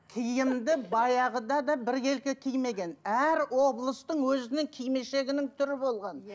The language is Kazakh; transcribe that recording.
киімді баяғыда да біркелкі кимеген әр облыстың өзінің кимешегінің түрі болған иә